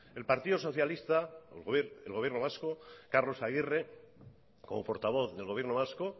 el partido socialista el gobierno vasco carlos agirre como portavoz del gobierno vasco